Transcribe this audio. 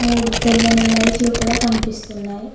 మూడు తెల్లని లైట్లు కూడా కనిపిస్తున్నాయి.